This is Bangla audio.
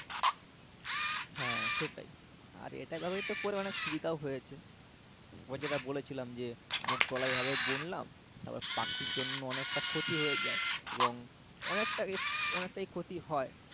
হ্যাঁ সেটাই আর এটা ব্যাবহৃত করেও অনেক সুবিধাও হয়েছে তোমাকে যেটা বলেছিলাম যে মুগ কলাই এভাবে বুনলাম তারপর পাখির জন্য অনেকটা ক্ষতি হয়ে যাই এবং অনেকটা অনেকটা ক্ষতি হয়